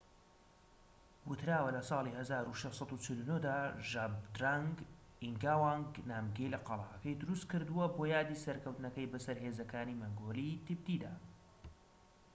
وتراوە لە ساڵی ١٦٤٩ دا ژابدرەنگ ئینگاوانگ نامگیل قەلاکەی دروست کردوە بۆ یادی سەرکەوتنەکەی بەسەر هێزەکانی مەنگۆلیی-تبتیدا